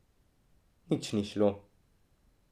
Nič ni šlo.